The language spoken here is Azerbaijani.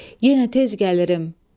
Yenə tez gəlirim.